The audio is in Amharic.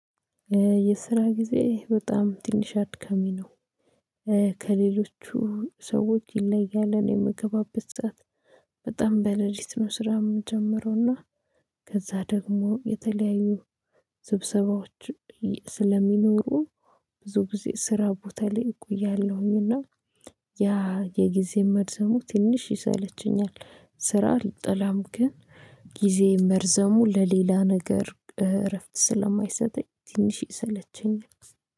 የስራ ጊዜ በጣም ትንሽ አድካሚ ነው። ከሌሎቹ ሰዎች ይለያል እኔ የምገባበት ሰዓት። በጣም በሌሊት ነው ስራ የምጀምረውና ከዛ ደግሞ የተለያዩ ስብሰባዎች ስለሚኖሩ ብዙ ጊዜ ስራ ቦታ ላይ እቆያለሁኝና ያ የጊዜ መርዘሙ ትንሽ ይሰለቸኛል። ስራ አልጠላም ግን ጊዜ መርዘሙ ለሌላ ነገር እረፍት ስለማይሰጠኝ ትንሽ ይሰለቸኛል